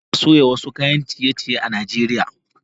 Ana soya wasu kayan ciye-ciye a Najeriya